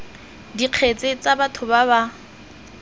dikgetse tsa batho ba ba